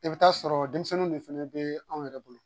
I bɛ taa sɔrɔ denmisɛnninw dun fɛnɛ bee anw yɛrɛ bolo.